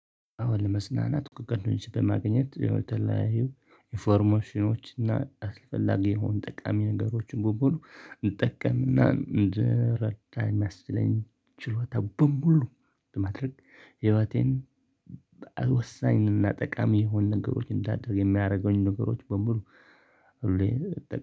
አሁን ለመፅናናት እኮ ቀድሞን በማግኘት የተለያዩ ኢንፎርሜሽኖች እና አስፈላጊ የሆኑ ጠቃሚ ነገሮችን በሙሉ እንድጠቀምና እንድረዳ የሚያስችለኝ ችሎታ በሙሉ በማድረግ ህይወቴን ወሳኝንና ጠቃሚ የሆን ነገሮችን እንዳደርግ የሚያደርገኝ ነገሮች በሙሉ።